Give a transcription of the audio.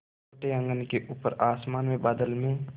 छोटे आँगन के ऊपर आसमान में बादल में